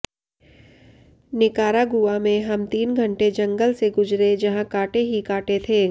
Nicaragua में हम तीन घंटे जंगल से गुजरे जहां कांटे ही कांटे थे